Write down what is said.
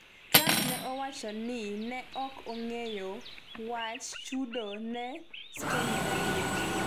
Trump ne owacho ni ne ok ong'eyo wach chudo ne Stormy Daniels'